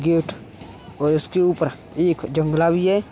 Gate और ऊपर के एक जंगला भी है।